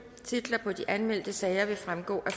titler på de anmeldte sager vil fremgå af